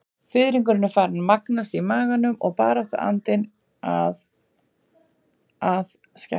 Fiðringurinn farinn að magnast í maganum og baráttuandinn að að skerpast.